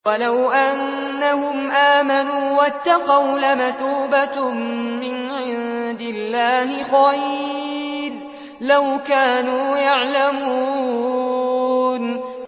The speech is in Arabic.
وَلَوْ أَنَّهُمْ آمَنُوا وَاتَّقَوْا لَمَثُوبَةٌ مِّنْ عِندِ اللَّهِ خَيْرٌ ۖ لَّوْ كَانُوا يَعْلَمُونَ